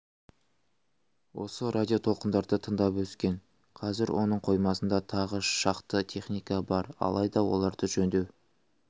осы радио толқындарды тыңдап өскен қазір оның қоймасында тағы шақты техника бар алайда оларды жөндеу